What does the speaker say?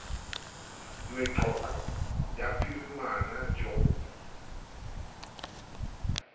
meqoqo ya phirimana j g